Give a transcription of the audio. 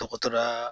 Dɔgɔtɔrɔya